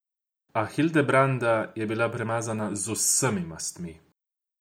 A Hildebranda je bila premazana z vsemi mastmi.